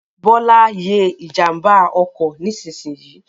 Bọ́lá ye ìjànbá ọkọ̀ nísinsìnyì